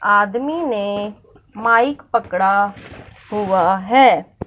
आदमी ने माइक पकड़ा हुआ है।